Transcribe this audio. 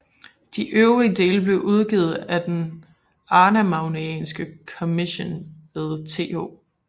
De øvrige dele blev udgivet af Den arnamagnæanske Commission ved Th